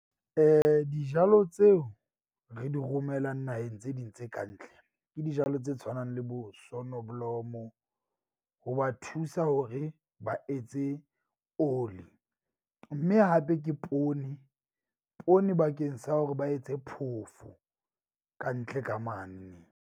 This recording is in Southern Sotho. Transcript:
Dijalo tseo re di romelang naheng tse ding tse kantle. Ke dijalo tse tshwanang le bo sonneblomo. Ho ba thusa hore ba etse oli mme hape ke poone. Poone bakeng sa hore ba etse phofo kantle ka mane.